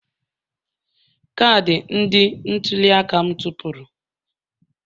Kaadị ndị ntuli aka m tụfuru